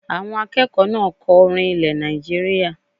Àwọn akẹ́kọ̀ọ́ náà kọ orin ilẹ̀ Nàìjíríyà